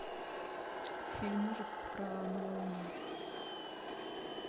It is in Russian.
фильм ужасов про новолуние